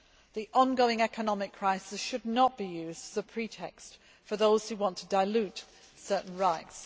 The ongoing economic crisis should not be used as a pretext for those who want to dilute certain rights.